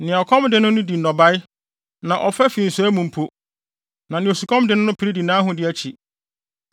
Nea ɔkɔm de no no di ne nnɔbae, na ɔfa fi nsɔe mu mpo, na nea osukɔm de no no pere di nʼahode akyi.